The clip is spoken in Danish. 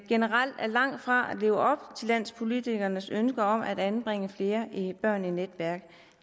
generelt er langt fra at leve op til landspolitikernes ønske om at anbringe flere børn i netværk